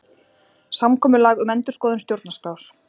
Samkomulag um endurskoðun stjórnarskrár